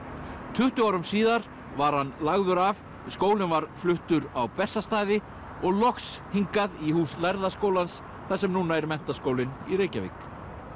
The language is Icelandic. tuttugu árum síðar var hann lagður af skólinn var fluttur á Bessastaði og loks hingað í hús lærða skólans þar sem núna er Menntaskólinn í Reykjavík